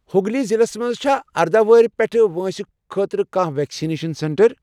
ہگلی ضلعس مَنٛز چھا ارداہ ؤہرِ پیٚٹھہٕ وٲنٛسہِ خٲطرٕ کانٛہہ ویکسِنیشن سینٹر؟